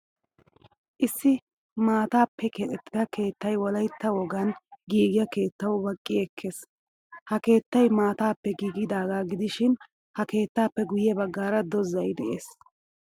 Issi maataappe keexettida keettay wolaytta wogaan giigiyaa keettawu baqqi ekkees. Ha keettay maataappe giigidaga gidishin ha keettaappe guye baggaara dozay de'ees.